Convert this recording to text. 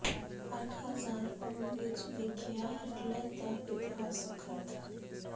ਅੱਠ ਹਜ਼ਾਰ ਪੌਂਡ ਵਿਚ ਵਿਕਿਆ ਹਿਟਲਰ ਦਾ ਇਤਿਹਾਸਕ ਖ਼ਤ